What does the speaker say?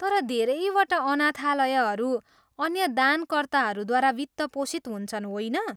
तर धेरैवटा अनाथालयहरू अन्य दानकर्ताहरूद्वारा वित्त पोषित हुन्छन् होइन?